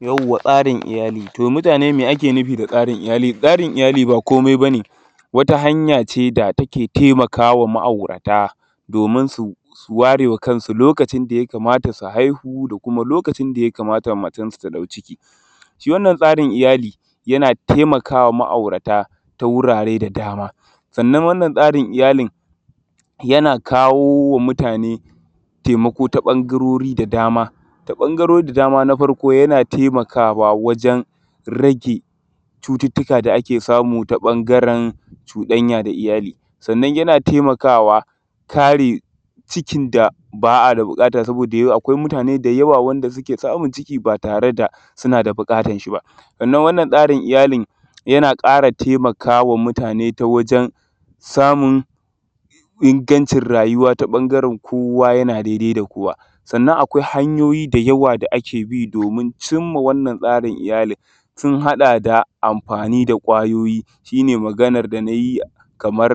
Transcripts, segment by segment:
tsaːrin iyaːli to mutaːne, me ake nufi da tsaːrin iyaːli? tsaːrin iyaːli ba koːmai baː ne, wata hanyaː ce da taːke taimaːkaː wa ma’auːraːta domin su waːre maː kansu loːkacin da yaːkamaːtaː su haihu, da kuːma loːkacin da yaːkamaːtaː matansu ta daːu ciki. Shiː wannan tsaːrin iyaːlin yaːna taimaːkaː wa ma’aːuraːta ta wuraːre da daːma, sanannan wannan tsaːrin iyaːlin yaːna kawoː wa mutaːne taimaːkoː ta ɓangarorin da daːma. Ta ɓangarorin da daːma, a faːrkoː yaːna taimaːkaː wajen rage cututtuːka da aːke saːmu ta ɓangaren cuɗaːnya da iyaːli, sanannan yaːna taimaːkaːwa kareː cikin da baː a daː buƙaːtaː. saboːda akwaːi mutaːne da yaːwaː da suːke saːmun ciki ba taːre da suːnaː da buƙaːtaːn shiː ba, sanannan wannan tsaːrin iyaːlin yaːna ƙaːraː taimaːkaː wa mutaːne ta wajen saːmun ingancin raːyuːwa ta bangaren koːwaː yana daidai da koːwaː, sanannan akwaːi hanyoːi da yaːwaː da aːke biː domin cimːaː wannan tsaːrin iyaːli. suːn haɗaː da amːfani da kwayoːyi, shi ne magaːnar da naːyiː, kaːmar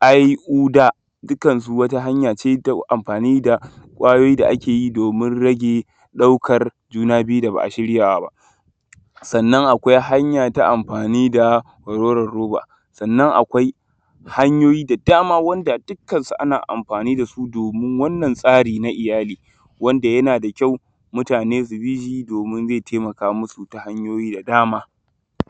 aːhuɗaː, dukkansuː waniː hanyaː neː naː amːfani da kwayoːyi, da aːke yiː domin rageː ɗaːukar junaː biːyuː da baː a shirːyaː ba. Sanannan akwaːi hanyaː ta amːfani da ruwar roːwa, sanannan akwaːi hanyoːyi da yaːwaː, wanda dukkansuː aːna amːfani da suː domin wannan tsaːriː naː iyaːli, wanda yana da gyaːraː neː mutaːne su biː shiː domin zeː taimaːkaː musuː ta hanyoːyi da yaːwa.